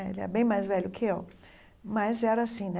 É Ele é bem mais velho que eu, mas era assim né.